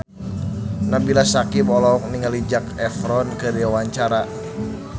Nabila Syakieb olohok ningali Zac Efron keur diwawancara